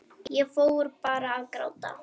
Ég fór bara að gráta.